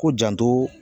Ko janto